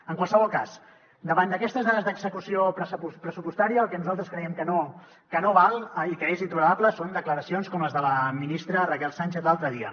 en qualsevol cas davant d’aquestes dades d’execució pressupostària el que nosaltres creiem que no val i que és intolerable són declaracions com les de la ministra raquel sánchez l’altre dia